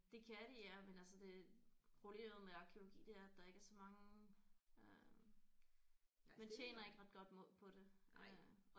Det kan de ja men altså det problemet med arkæologi det er at der ikke er så mange øh man tjener ikke ret godt mod på det øh